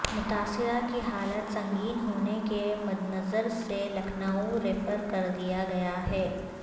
متاثرہ کی حالت سنگین ہونے کے مدنظر اسے لکھنئو ریفر کر دیا گیا ہے